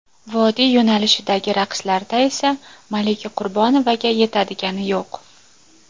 Vodiy yo‘nalishidagi raqslarda esa Malika Qurbonovaga yetadigani yo‘q.